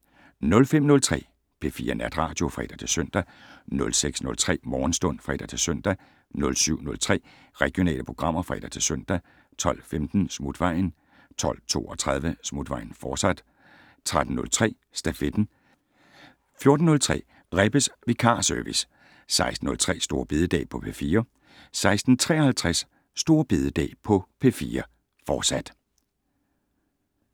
05:03: P4 Natradio (fre-søn) 06:03: Morgenstund (fre-søn) 07:03: Regionale programmer (fre-søn) 12:15: Smutvejen 12:32: Smutvejen, fortsat 13:03: Stafetten 14:03: Rebbes vikarservice 16:03: Store bededag på P4 16:53: Store bededag på P4, fortsat